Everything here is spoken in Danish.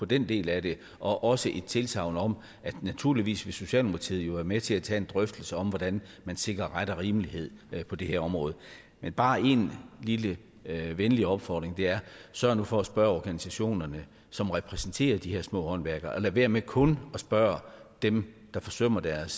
den del af det og også et tilsagn om at naturligvis vil socialdemokratiet være med til at tage en drøftelse om hvordan man sikrer ret og rimelighed på det her område men bare en lille venlig opfordring sørg nu for at spørge organisationerne som repræsenterer de her små håndværkere og lad være med kun at spørge dem der forsømmer deres